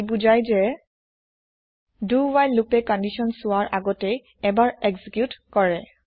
ই বুজায় যে do while লোপে কন্দিচ্যন চোৱাৰ আগতে এবাৰ এক্জিক্যুত কৰে